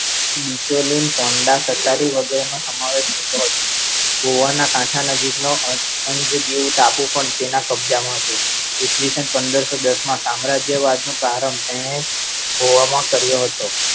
નિચોલીન પોન્ડા સરકારી વગેરેનો સમાવેશ થતો હતો. ગોવાના કાંઠા નજીક નો અંજદીવ ટાપુ પણ તેના કબજામાં હતો ઈ. સ. પંદરસો દસ માં તેણે સામ્રાજ્યવાદ નો પ્રારંભ કર્યો હતો